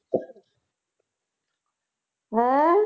ਹੈ